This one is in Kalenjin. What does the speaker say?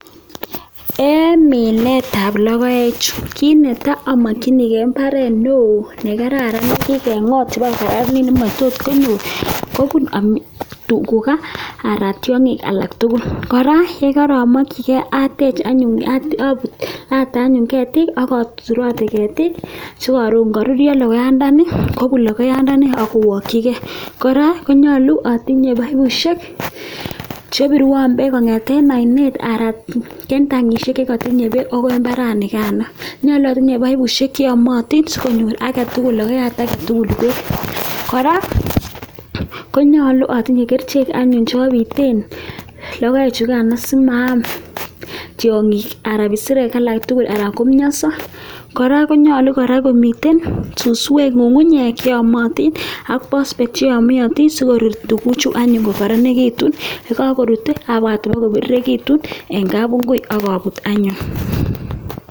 En minetab lokoechu kinetai amakchinigei mbaret neoo ne kararan ne tuka aran tyong'ik alak tukul. Kora ya karamakchigei atech anyun , ata anyun ketik a turoten ketik si karon karurio lokoyandani kobu lokoyandani kowokchigei, kora nyolu atinye paipishek che birwan beek ko ng'eten oinet aran kentankishek che tinye beek agoi mbaranikano. Nyolu atinye paipishek che amatin si konyor age tugul, lokoyat age tugul beek. Kora ko nyolu atinye kerchek anyun che abiten lokoechu kan is simaam tyong'ik anan ko kisirek alak tugul aran ko mnyoso kora ko nyalu kora ko miten suswek ng'ung'unyek che amatin ak pospet chi yamiatin si korut tukuchu anyun ko karanekitun, ye kakurut abwat koko biririkitun eng kabungui akabut anyun.